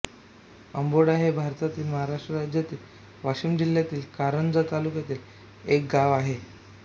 आंबोडा हे भारतातील महाराष्ट्र राज्यातील वाशिम जिल्ह्यातील कारंजा तालुक्यातील एक गाव आहे